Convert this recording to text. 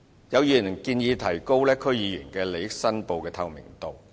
有議員建議提高區議員利益申報制度的透明度。